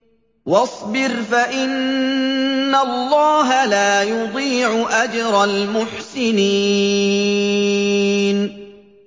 وَاصْبِرْ فَإِنَّ اللَّهَ لَا يُضِيعُ أَجْرَ الْمُحْسِنِينَ